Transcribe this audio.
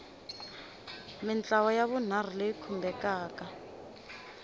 mintlawa ya vunharhu leyi khumbekaka